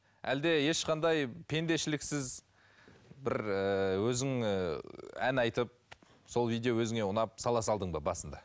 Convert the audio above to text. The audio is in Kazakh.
әлде ешқандай пендешіліксіз бір ііі өзің ііі ән айтып сол видео өзіңе ұнап сала салдың ба басында